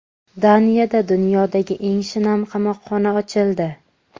Daniyada dunyodagi eng shinam qamoqxona ochildi.